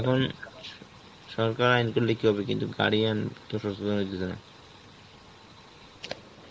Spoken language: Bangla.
এখন সরকার আইন করলে কি হবে? কিন্তু guardian